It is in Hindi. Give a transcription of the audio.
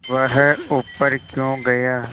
वह ऊपर क्यों गया